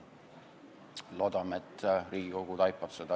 Loodame, et Riigikogu taipab seda.